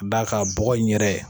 D'a kan bɔgɔ in yɛrɛ